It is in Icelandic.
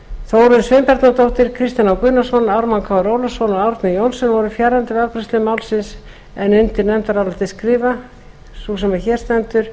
þórunn sveinbjarnardóttir kristinn h gunnarsson ármann krónu ólafsson og árni johnsen voru fjarverandi við afgreiðslu málsins undir nefndarálitið skrifa sú sem hér sendur